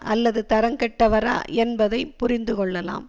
அல்லது தரங்கெட்டவரா என்பதை புரிந்து கொள்ளலாம்